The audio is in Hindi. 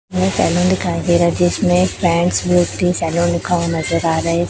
यह सैलून दिखाई दे रहा है जिसमें मूर्ति सैलून लिखा हुआ नजर आ रहा है।